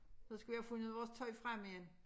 Så skal vi have fundet vores tøj frem igen